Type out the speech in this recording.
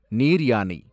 நீர்யானை